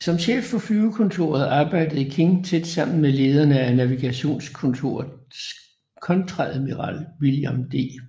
Som chef for flyvekontoret arbejdede King tæt sammen med lederen af navigationskontoret kontreadmiral William D